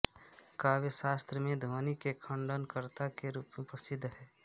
काव्यशास्त्र में ध्वनि के खण्डनकर्ता के रूप में प्रसिद्ध हैं